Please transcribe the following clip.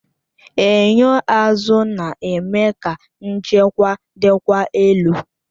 Enyo azụ na-eme ka nchekwa dịkwa elu